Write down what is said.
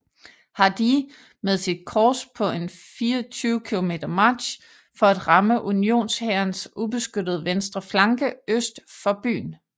Hardee med sit korps på en 24 km march for at ramme unionshærens ubeskyttede venstre flanke øst for byen